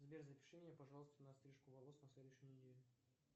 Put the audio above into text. сбер запиши меня пожалуйста на стрижку волос на следующую неделю